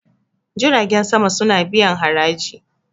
jitagen sama suna biyan haraji